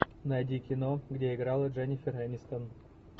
найди кино где играла дженнифер энистон